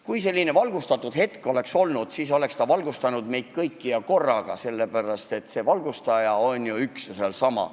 Kui selline valgustatuse hetk oleks võimalik, siis oleks me valgustatud saanud kõik korraga, sellepärast et valgustaja on ju üks ja seesama.